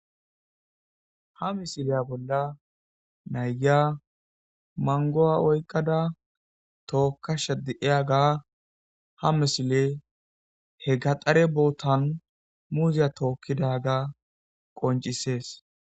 ha misileya bolla nayyia mangowa oykqada tookkasha diyaga ha misile he gaxare bootan muziya tookkidaga qoncisees